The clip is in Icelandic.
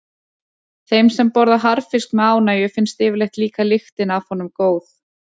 Þeim sem borða harðfisk með ánægju finnst yfirleitt líka lyktin af honum góð.